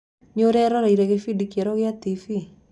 Nĩũreroreire kĩbindi kĩerũ kia Tv?